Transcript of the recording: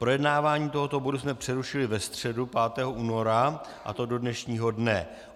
Projednávání tohoto bodu jsme přerušili ve středu 5. února, a to do dnešního dne.